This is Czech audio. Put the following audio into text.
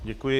Děkuji.